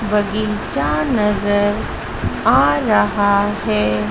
बगीचा नजर आ रहा है।